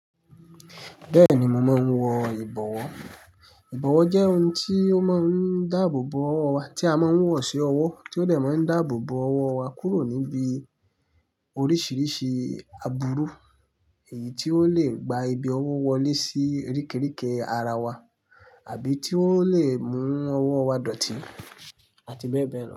Bẹ́ẹ̀ni, mo maa n wọ ìbọ̀wọ́. Ìbọ̀wọ́ jẹ́ ohun tí ó máa ń dáàbò bo ọwọ́ wa, tí a máa ń wọ̀ sí ọwọ́, tí ó de máa ń dáàbò bo ọwọ́ wa kúrò níbi oríṣiríṣi àbúrú, èyí tí ó lè gba ibi ọwọ́ wọlé sí oríkiriki ara wa àbí tí ó lè mú ọwọ́ wa dọ̀tí àti bẹ́ẹ̀ bẹ́ẹ̀ lọ.